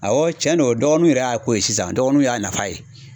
Awɔ cɛn do dɔgɔninw yɛrɛ y'a ko ye sisan dɔgɔninw y'a nafa ye.